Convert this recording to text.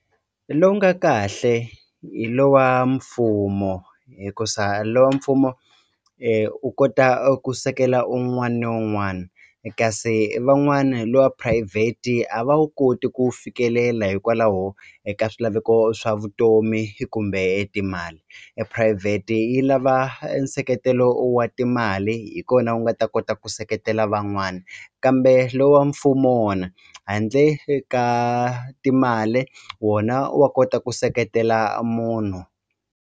Lowu nga kahle hi lowa mfumo hikusa lowa mfumo u kota a ku sekela un'wani ni un'wani kasi van'wani lowa private a va wu koti ku wu fikelela hikwalaho eka swilaveko swa vutomi kumbe etimali ephurayivheti yi lava e nseketelo wa timali hi kona wu nga ta kota ku seketela van'wani kambe lo wa mfumo wona handle ka timali wona wa kota ku seketela munhu.